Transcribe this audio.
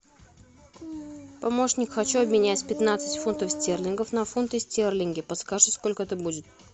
помощник хочу обменять пятнадцать фунтов стерлингов на фунты стерлинги подскажи сколько это будет